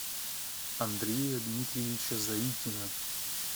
андрея дмитриевича заикина